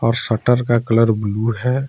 Shutter का colour blue है।